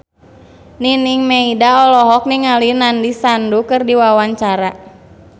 Nining Meida olohok ningali Nandish Sandhu keur diwawancara